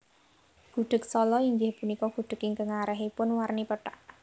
Gudheg Sala inggih punika gudheg ingkang arèhipun warni pethak